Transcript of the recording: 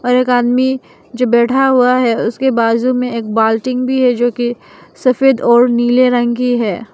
और एक आदमी जो बैठा हुआ है उसके बाजू मे एक बाल्टिंग भी है जो की सफेद और नीले रंग की हैं।